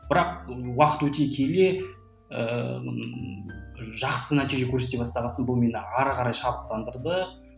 бірақ уақыт өте келе ыыы жақсы нәтиже көрсете бастағасын бұл мені ары қарай шабыттандырды